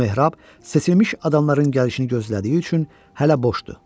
Bu mehrab seçilmiş adamların gəlişini gözlədiyi üçün hələ boşdur.